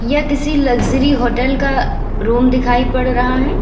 यह किसी luxury hotel का रूम दिखाई पड़ रहा है।